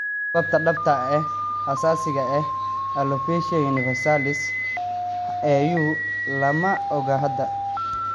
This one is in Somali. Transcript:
Sababta dhabta ah ee asaasiga ah ee alopecia universalis (AU) lama oga hadda.